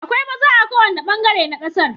Akwai maza a kowane bangare na kasar.